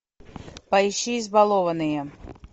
поищи избалованные